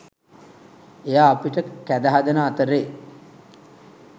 එයා අපිට කැඳ හදන අතරේ